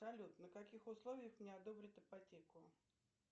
салют на каких условиях мне одобрят ипотеку